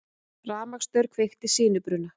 Rafmagnsstaur kveikti sinubruna